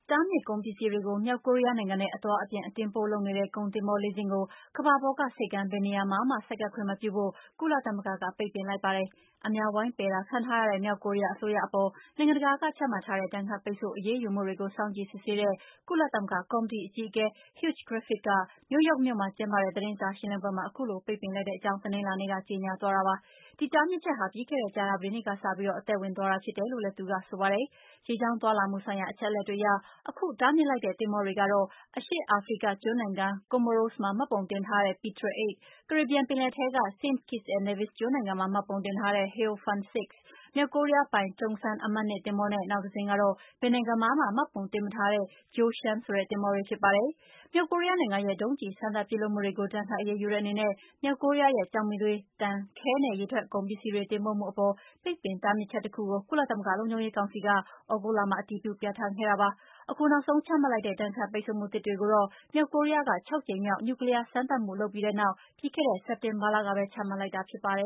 တားမြစ်ကုန်ပစ္စည်းတွေကို မြောက်ကိုရီးယားနိုင်ငံနဲ့ အသွားအပြန် အတင်အပို့ လုပ်နေတဲ့ ကုန်တင်သင်္ဘောလေးစင်းကို ကမ္ဘာပေါ်က ဆိပ်ကမ်း ဘယ်နေရာမှာမှ ဆိုက်ကပ်ခွင့်မပြုဖို့ ကုလသမဂ္ဂက ပိတ်ပင်လိုက်ပါတယ်။ အများ ဝိုင်းပယ်တာခံထားရတဲ့ မြောက်ကိုရီးယား အစိုးရအပေါ် နိုင်ငံတကာက ချမှတ်ထားတဲ့ ဒဏ်ခတ်ပိတ်ဆို့ အရေးယူမှုတွေကို စောင့်ကြည့်စစ်ဆေးတဲ့ ကုလသမဂ္ဂကော်မတီ အကြီးအကဲ Hugh Griffiths က နယူးယောက်မြို့မှာကျင်းပတဲ့ သတင်းစာရှင်းလင်းပွဲမှာ အခုလို ပိတ်ပင်လိုက်တဲ့အကြောင်းကို တနင်္လာနေ့က ကြေညာ သွားတာပါ။ ဒီတားမြစ်ချက်ဟာ ပြီးခဲ့တဲ့ ကြာသပတေးနေ့ကစပြီး အသက်ဝင်သွားတာ ဖြစ်တယ်လို့လည်း သူက ပြောသွားပါတယ်။ ရေကြောင်းသွားလာမှုဆိုင်ရာ အချက်အလက်တွေအရ အခု တားမြစ်လိုက်တဲ့ သင်္ဘောတွေကတော့ - အရှေ့အာဖရိက ကျွန်းနိုင်ငံ Comoros မှာ မှတ်ပုံတင်ထားတဲ့ Petrel 8 ၊ ကာရေဘီယံပင်လယ်ထဲက Saint Kitts and Nevis ကျွန်းနိုင်ငံမှာ မှတ်ပုံတင်ထားတဲ့ Hao Fan 6 ၊ မြောက်ကိုးရီးယားပိုင် Tong San အမှတ် 2 သင်္ဘော နဲ့ နောက်တစင်း ကတော့ ဘယ်နိုင်ငံမှာမှ မှတ်ပုံတင်မထားတဲ့ Jie Shun ဆိုတဲ့ သင်္ဘောတွေ ဖြစ်ပါတယ်။ မြောက်ကိုရီးယားနိုင်ငံရဲ့ ဒုံးကျည် စမ်းသပ်ပစ်လွှတ်မှုတွေကို ဒဏ်ခတ်အရေးယူတဲ့အနေနဲ့ မြောက်ကိုးရီးယားရဲ့ ကျောက်မီးသွေး၊ သံ၊ ခဲ နဲ့ ရေထွက်ကုန်ပစ္စည်းတွေ တင်ပို့မှုအပေါ် ပိတ်ပင်တားမြစ်ချက်တခုကို ကုလသမဂ္ဂ လုံခြုံရေးကောင်စီက သြဂုတ်လမှာ အတည်ပြုပြဌာန်းခဲ့တာပါ။ အခုနောက်ဆုံးချမှတ်လိုက်တဲ့ ဒဏ်ခတ်ပိတ်ဆို့မှု သစ်တွေကိုတော့ မြောက်ကိုရီးယားက ခြောက်ကြိမ်မြောက် နျူကလီးယားစမ်းသပ်မှု လုပ်ပြီးတဲ့နောက် ပြီးခဲ့တဲ့ စက်တင်ဘာလကပဲ ချမှတ်လိုက်တာ ဖြစ်ပါတယ